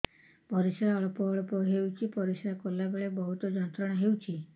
ପରିଶ୍ରା ଅଳ୍ପ ଅଳ୍ପ ହେଉଛି ପରିଶ୍ରା କଲା ବେଳେ ବହୁତ ଯନ୍ତ୍ରଣା ହେଉଛି